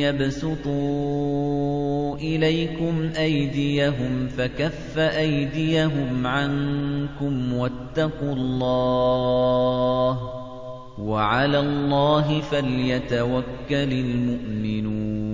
يَبْسُطُوا إِلَيْكُمْ أَيْدِيَهُمْ فَكَفَّ أَيْدِيَهُمْ عَنكُمْ ۖ وَاتَّقُوا اللَّهَ ۚ وَعَلَى اللَّهِ فَلْيَتَوَكَّلِ الْمُؤْمِنُونَ